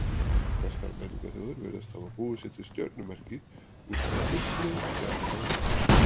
Flestar menningarþjóðir virðast hafa búið sér til stjörnumerki út frá uppröðun stjarnanna á himninum.